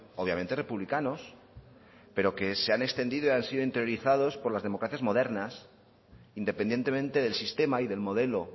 obviamente republicanos pero que se han extendido y han sido interiorizados por las democracias modernas independientemente del sistema y del modelo